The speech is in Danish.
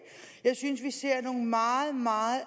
jeg synes vi ser nogle meget meget